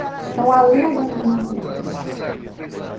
Então, ali eu já interrompi os os estudos.